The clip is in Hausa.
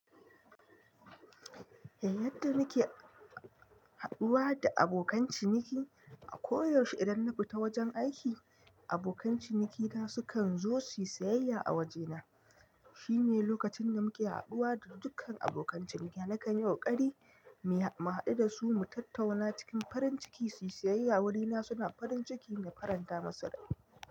Yadda nike haɗuwa da abokan ciniki. A koyaushe idan na fita wajen aiki, abokan cinikina sukan zo su yi sayayya a wajena. Shine lokacin da muke haɗuwa da dukkan abokan cinikina nakanyi ƙokari, mu haɗu da su mu tattauna cikin farin ciki su yi sayayya a wurina suna farin ciki da faranta musu rai.